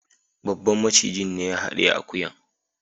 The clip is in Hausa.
Babban macijin ne ya hadiye akuyan.